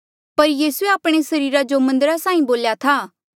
पर यीसूए आपणे सरीरा जो मन्दरा साहीं बोल्या था